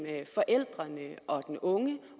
forældrene og den unge